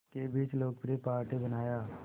के बीच लोकप्रिय पार्टी बनाया